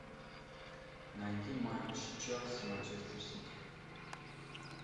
найди матч челси манчестер сити